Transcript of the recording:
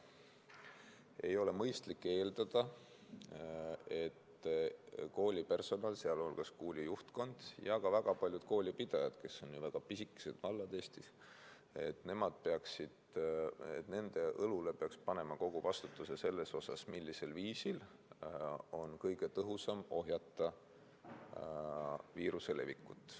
Ei ole mõistlik eeldada, et koolipersonal, sealhulgas kooli juhtkond ja ka väga paljud koolipidajad pisikestes Eesti valdades, et nende õlule peaks panema kogu vastutuse selles osas, millisel viisil on kõige tõhusam ohjata viiruse levikut.